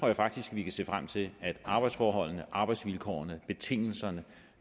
jeg faktisk vi kan se frem til at arbejdsforholdene arbejdsvilkårene betingelserne